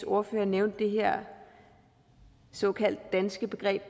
ordfører nævnte det her såkaldt danske begreb